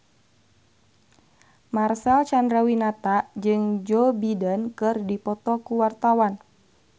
Marcel Chandrawinata jeung Joe Biden keur dipoto ku wartawan